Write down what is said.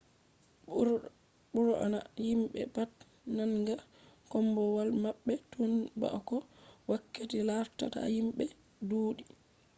bur’na himbe pat nanga kombowal mabbe tun ba’ko wakkati larta ta himbe duudi